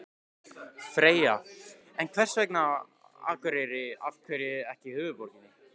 Freyja: En hvers vegna Akureyri, af hverju ekki höfuðborgin?